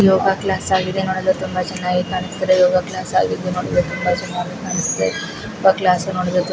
ಯೋಗ class ಆಗಿದೆ ನೋಡಲು ತುಂಬಾ ಚೆನ್ನಾಗಿ ಕಾಣಿಸುತ್ತಿದೆ. ಯೋಗ ಕ್ಲಾಸ್ ಆಗಿದ್ದು ನೋಡಲು ತುಂಬಾ ಚೆನ್ನಾಗಿ ಕಣ್ಣಿಸುತ್ತಿದೆ. ಕ್ಲಾಸ್ನೋಡಲು ತು--